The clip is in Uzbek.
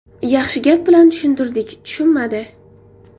Yaxshi gap bilan tushuntirdik, tushunmadi.